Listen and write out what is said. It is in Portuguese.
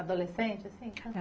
Adolescente, assim?